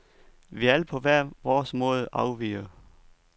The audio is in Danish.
Vi er alle på hver vores måde er afvigere.